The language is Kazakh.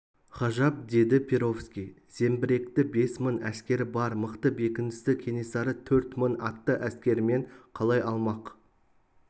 ғажап деді перовский зеңбіректі бес мың әскері бар мықты бекіністі кенесары төрт мың атты әскерімен қалай алмақ